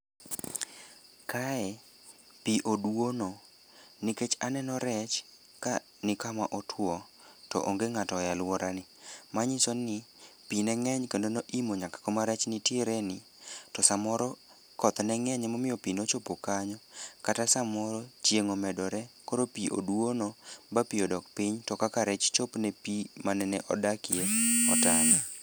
Kae pi odwono nikech aneno rech ka ni kama otwo to onge ng'ato e alworani manyiso ni pi ne ng'eny kendo noimo nyaka kuma rech nitiere ni to samoro koth ne ng'eny emomiyo pi nochopo kanyo kata samoro chieng' omedore koro pi oduono ba pi odok piny to kaka rech chopne pi manene odakie otame.